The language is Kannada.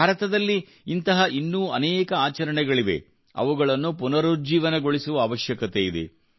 ಭಾರತದಲ್ಲಿ ಇಂತಹ ಇನ್ನೂ ಅನೇಕ ಆಚರಣೆಗಳಿವೆ ಅವುಗಳನ್ನು ಪುನರುಜ್ಜೀವನಗೊಳಿಸುವ ಅವಶ್ಯಕತೆಯಿದೆ